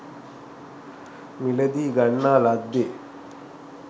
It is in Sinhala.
මිලදීගන්නා ලද්දේ